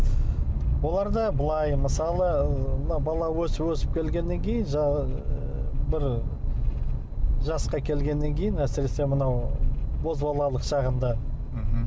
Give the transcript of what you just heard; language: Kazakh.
оларда былай мысалы ы мына бала өсіп өсіп келгеннен кейін бір жасқа келгеннен кейін әсіресе мынау бозбалалық шағында мхм